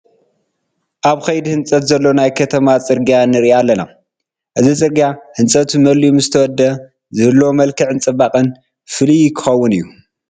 ኣብ ከይዲ ሕንፀት ዘሎ ናይ ከተማ ፅርጊያ ንርኢ ኣለና፡፡ እዚ ፅርጊያ ህንፀቱ መሊኡ ምስተወድአ ዝህልዎ መክዕን ፅባቐን ፍሉይ ክኸውን እዩ፡፡